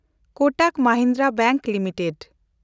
Kotak Mahindra bank limited